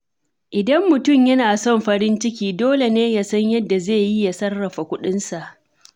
Idan mutum yana son farin ciki, dole ne ya san yadda zai yi ya sarrafa kuɗinsa.